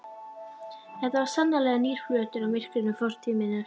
Þetta var sannarlega nýr flötur á myrkri fortíð minni.